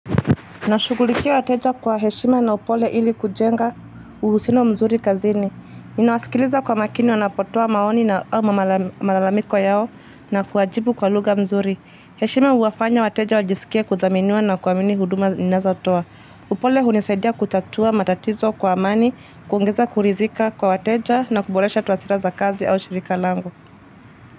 Nashughulikia wateja kwa heshima na upole ili kujenga uhusiano mzuri kazini. Ninawaskiliza kwa makini wanapotoa maoni ama malalamiko yao na kuwajibu kwa lugha nzuri. Heshima huwafanya wateja wajisikie kuthaminiwa na kuamini huduma ninazo toa. Upole hunisaidia kutatua matatizo kwa amani, kuongiza kuridhika kwa wateja na kuboresha twasira za kazi au shirika lango.